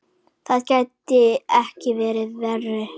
Það gæti ekki verið verra.